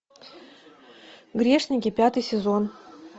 грешники пятый сезон